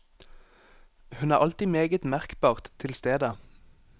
Hun er alltid meget merkbart til stede.